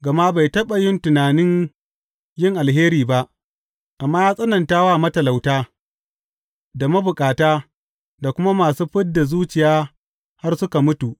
Gama bai taɓa yin tunanin yin alheri ba, amma ya tsananta wa matalauta da mabukata da kuma masu fid da zuciya har suka mutu.